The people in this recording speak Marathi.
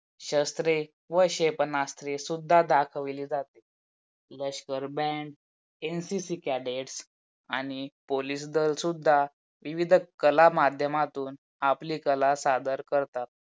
शस्त्रे व क्षेपणास्त्रे सुद्धा दाखवली जाते. लष्कर बँड NCC Cadet आणि Police दल सुद्धा विविध कला माध्यमांतून आपली कला सादर करतात.